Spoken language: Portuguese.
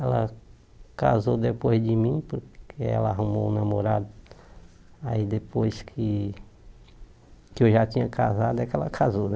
Ela casou depois de mim, porque ela arrumou um namorado aí depois que que eu já tinha casado, é que ela casou, né?